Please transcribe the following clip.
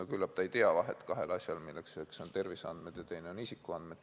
No küllap ta ei tee vahet kahel asjal, üks on terviseandmed ja teine on isikuandmed.